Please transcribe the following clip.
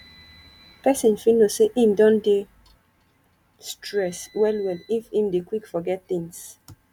person fit know sey im don dey stress well well if im dey quick forget things